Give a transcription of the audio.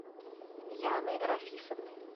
яны рафисовны